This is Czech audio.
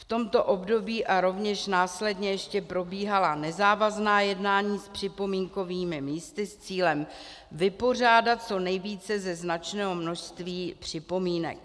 V tomto období a rovněž následně ještě probíhala nezávazná jednání s připomínkovými místy s cílem vypořádat co nejvíce ze značného množství připomínek.